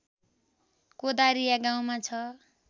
कोदारिया गाउँमा छ